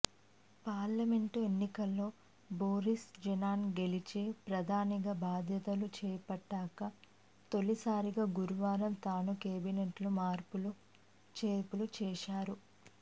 parliament ఎన్నికల్లో Boris Johnson గెలిచి ప్రధానిగా బాధ్యతలు చేపట్టాక తొలిసారిగా గురువారం తను కేబినెట్లో మార్పులు చేర్పులు చేశారు